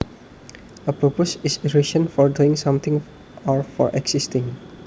A purpose is reason for doing something or for existing